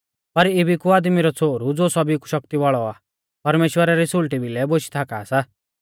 पर इबी कु आदमी रौ छ़ोहरु ज़ो सौभी कु शक्ति वाल़ौ आ परमेश्‍वरा री सुल़टी भिलै बोशी थाका सा